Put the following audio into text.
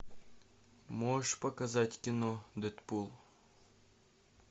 можешь показать кино дэдпул